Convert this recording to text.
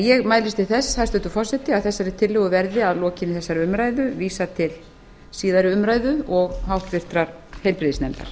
ég mælist til þess hæstvirtur forseti að þessari tillögu verði að lokinni þessari umræðu vísað til síðari umræðu og háttvirtur heilbrigðisnefndar